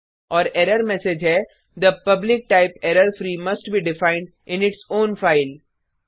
और error message है the public type error free must be defined in its own file